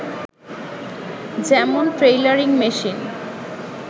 যেমন_ tailoring machine